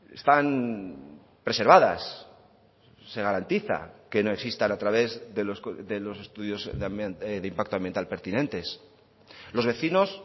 están preservadas se garantiza que no existan a través de los estudios de impacto ambiental pertinentes los vecinos